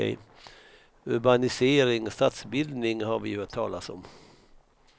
Urbanisering, stadsbildning, har vi ju hört talas om.